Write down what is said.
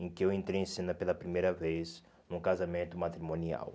em que eu entrei em cena pela primeira vez num casamento matrimonial.